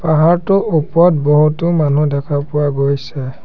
পাহাৰটোৰ ওপৰত বহুতো মানুহ দেখা পোৱা গৈছে।